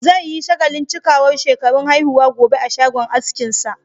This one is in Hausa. Zai yi shagalin cikawar shekarun haihuwa gobe a shagon askinsa.